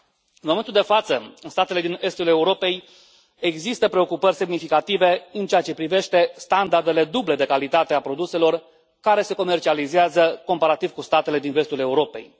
În momentul de față, în statele din estul Europei există preocupări semnificative în ceea ce privește standardele duble de calitate a produselor care se comercializează, comparativ cu statele din vestul Europei.